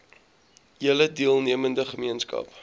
hele deelnemende gemeenskap